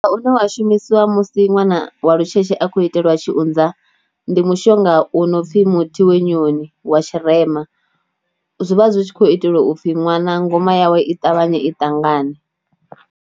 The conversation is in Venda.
Mushonga une wa shumisiwa musi ṅwana wa lutshetshe a khou iteliwa tshiunza, ndi mushonga u no pfhi muthi wenyoni wa tshirema, zwi vha zwi tshi khou itelwa u pfhi ṅwana ngoma yawe i ṱavhanye i ṱangane.